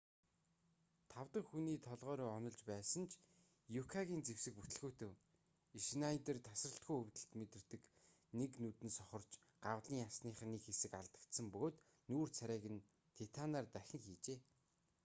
тав дахь хүний толгой руу онилж байсан ч юкагийн зэвсэг бүтэлгүйтэв шнайдер тасралтгүй өвдөлт мэдэрдэг нэг нүд нь сохорч гавлын ясных нь нэг хэсэг алдагдсан бөгөөд нүүр царайг нь титанаар дахин хийжээ